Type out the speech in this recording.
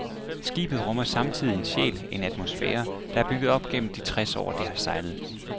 Skibet rummer samtidig en sjæl, en atmosfære, der er bygget op gennem de tres år, det har sejlet.